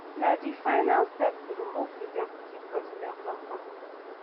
na di final step to remove di deputy president from office